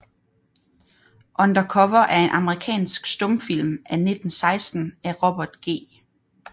Under Cover er en amerikansk stumfilm fra 1916 af Robert G